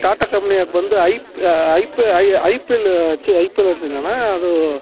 Tata company ಆಗ ಬಂದು IP IPL ಛೆ ಐಪಿಲ್ ಅಂತೀನಣ್ಣ ಅದು